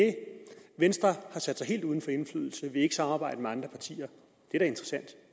venstre har sat sig helt uden for indflydelse vil ikke samarbejde med andre partier